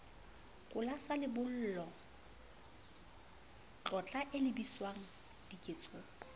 kola sa lebollo tlotlo elebiswangdiketsong